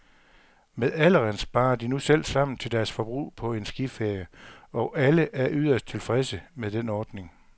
Med alderen sparer de nu selv sammen til deres forbrug på en skiferie, og alle er yderst tilfredse med den ordning.